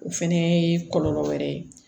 O fɛnɛ ye kɔlɔlɔ wɛrɛ ye